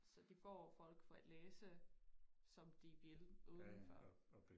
Så de får folk for at læse som de ville uden for